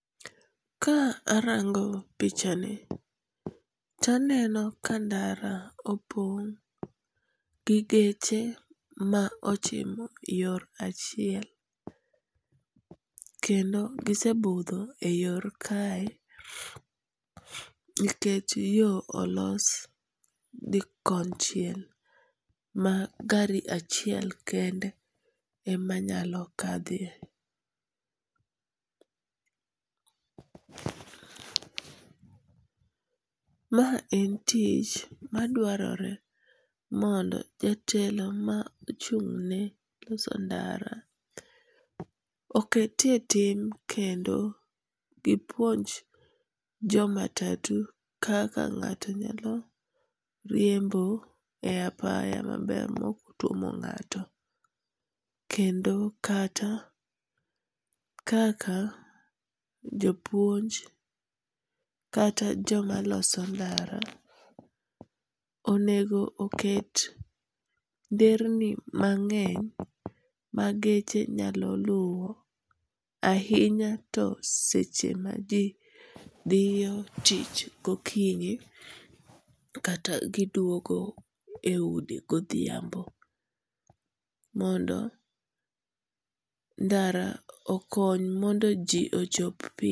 Ka arango pichani to aneno ka ndara opong' gi geche ma ochimo yor achiel, kendo gisebudho e yor kae, nikech yo olos gi konchiel ma gari achiel kende ema nyalo kadhie. Ma en tich maduarore mondo jatelo ma ochung'ne loso ndara oketie tim kendo gipuonj jomatatu kaka ng'ato nyalo riembo e apaya maber moktuomo ng'ato, kendo kata kaka jopuonj kata joma loso ndara onego oket nderni mang'eny ma geche nyalo luwo ahinya to seche ma ji thiyo tich gokinyi kata giduogo e udi godhiambo mondo ndara okony mondo ji ochop piyo